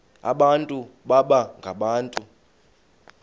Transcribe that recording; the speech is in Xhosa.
abantu baba ngabantu